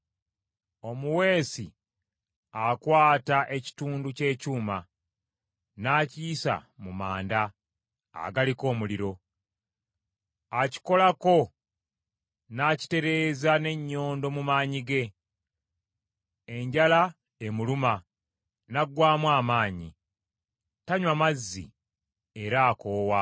Omuweesi akwata ekitundu ky’ekyuma n’akiyisa mu manda, agaliko omuliro. Akikolako n’akitereeza n’ennyondo mu maanyi ge. Enjala emuluma, n’aggwaamu amaanyi, tanywa mazzi era akoowa.